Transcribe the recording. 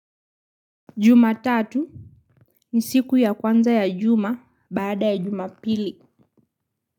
Jumatatu ni siku ya kwanza ya juma baada ya jumapili.